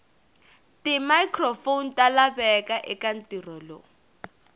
timicrophone talaveka ekantirho lowu